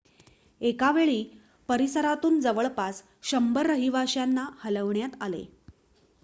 एकावेळी परिसरातून जवळपास १०० रहिवाश्यांना हलवण्यात आले